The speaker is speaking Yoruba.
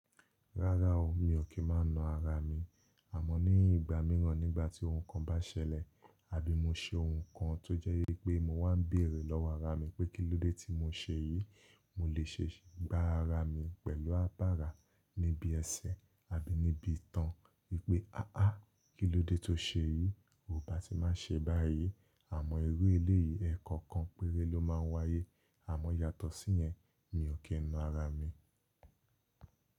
Rárá o, mi ò kí n máa na ara mi, àmọ́ ní ìgbà míràn nígbà tí ohun kan bá ṣẹlẹ̀ àbí mo ṣe ohun kan tó jẹ́ wípé mo wá ń bèrè lọ́wọ́ ara mi pé kílódé tí mo ṣe yìí, mo lè ṣe gbá ara mi pẹ̀lú abara níbi ẹsẹ̀ àbí níbi ìtàn wípé “aááa kílódé tó ṣe yìí, o ò bá ti má ṣe báyìí.” Àmọ́ irú eléyìí ẹẹkọọkan péré ló máa ń wáyé, àmọ́ yàtọ̀ sí yẹn mi ò kí n na ara mi.